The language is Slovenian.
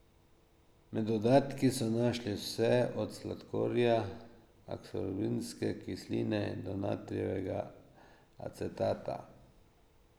Med dodatki so našli vse od sladkorja, aksorbinske kisline do natrijevega acetata.